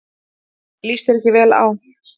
Líst þér ekki vel á.